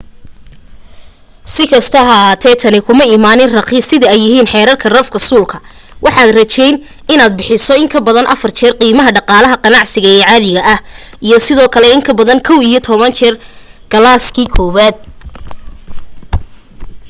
sikasta ha ahaatee tani kumay imaanin raqiis sida ay yihiin xerarka rafka suulku waxaad rajayn inaad bixiso in kabadan afar jeer qiimaha dhaqaalaha ganacsiga ee caadiga ah iyo sidoo kale in kabadan kow iyo toban jeer kalaaskii kowaad